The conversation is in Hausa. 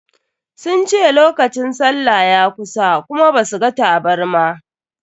Sun ce lokacin sallah ya kusa kuma ba su ga tabarma.